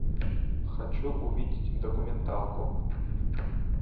хочу увидеть документалку